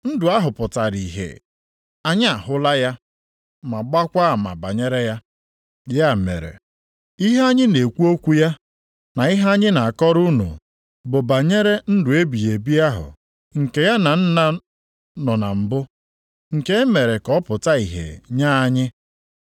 Ndụ ahụ pụtara ihe. Anyị ahụla ya ma gbaakwa ama banyere ya. Ya mere, ihe anyị na-ekwu okwu ya, na ihe anyị na-akọrọ unu bụ banyere ndụ ebighị ebi ahụ nke ya na Nna nọ na mbụ; nke e mere ka ọ pụta ìhè nye anyị.